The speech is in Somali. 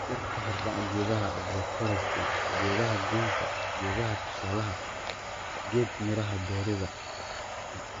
Dhirta Hordhac Geedaha Agroforestry Geedaha Goynta Geedaha Tusaalaha geed miraha beeridda